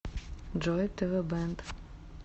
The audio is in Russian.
джой тэ вэ бэнд